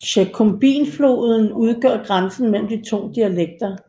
Shkumbinfloden udgør grænsen mellem de to dialekter